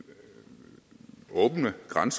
langt